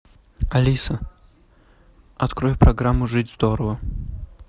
алиса открой программу жить здорово